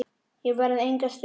Ég verð enga stund!